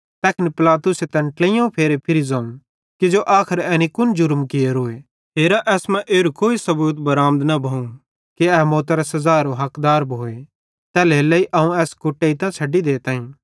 तैखन पिलातुसे तैन ट्लेइयोवं फेरे फिरी ज़ोवं किजो आखर एनी कुन जुर्म कियोरोए हेरा एसमां एरू कोई सबूत बराँमद न भोवं कि ए मौतरे सज़ारो हकदार भोए तैल्हेरेलेइ अवं एस कुटेइतां छ़ैडी देताईं